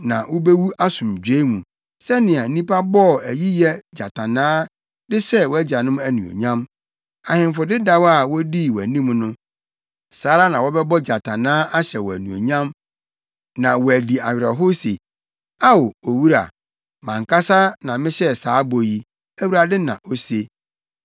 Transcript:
na wubewu asomdwoe mu. Sɛnea nnipa bɔɔ ayiyɛ gyatannaa de hyɛɛ wʼagyanom anuonyam, ahemfo dedaw a wodii wʼanim no, saa ara na wɔbɛbɔ gyatannaa ahyɛ wo anuonyam na wɔadi awerɛhow se, “Ao, owura!” Mʼankasa na mehyɛ saa bɔ yi, Awurade na ose.’ ”